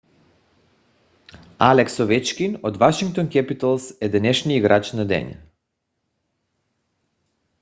алекс овечкин от вашингтон кепитълс е днешния играч на деня